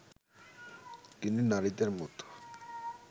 তিনি নারীদের মতো